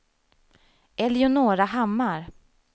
Eleonora Hammar